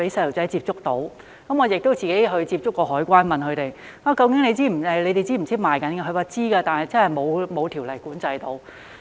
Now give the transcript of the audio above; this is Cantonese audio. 我自己亦接觸過海關，問究竟是否知道電子煙正在出售，他們表示知道，但是真的沒有條例管制。